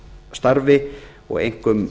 starfi og einkum